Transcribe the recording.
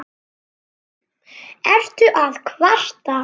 Ertu að kvarta?